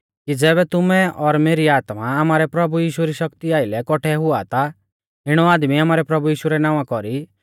कि ज़ैबै तुमै और मेरी आत्मा आमारै प्रभु यीशु री शक्ति आइलै कौठै हुआ ता इणौ आदमी आमारै प्रभु यीशु रै नावां कौरी